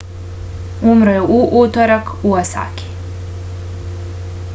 umro je u utorak u osaki